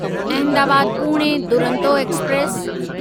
Ahmedabad Pune Duronto express